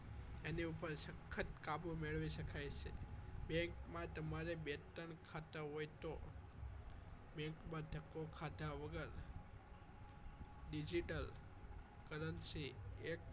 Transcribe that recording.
એની ઉપર સખત કાબુ મેળવી શકાય છે bank માં તમારે બે ત્રણ ખાતા હોય તો bank માં ધક્કો ખાધા વગર digital currency એ